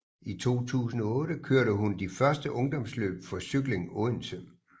I 2008 kørte hun de første ungdomsløb for Cykling Odense